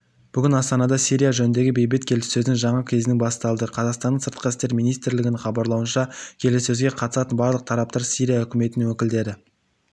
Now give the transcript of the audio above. бүгін астанада сирия жөніндегі бейбіт келіссөздің жаңа кезеңі басталады қазақстанның сыртқы істер министрлігінің хабарлауынша келіссөзге қатысатын барлық тараптар сирия үкіметінің өкілдері